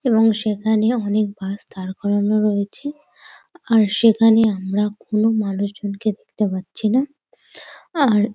এবং সেখানে অনেক বাস দাঁড় করানো রয়েছে আর সেখানে আমরা কোন মানুষজনকে দেখতে পাচ্ছি না আর --